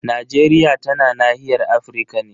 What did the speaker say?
Najeriya tana nahiyar Afirka ne.